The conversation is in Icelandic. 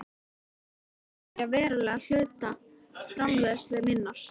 Ég varð enn að eyðileggja verulegan hluta framleiðslu minnar.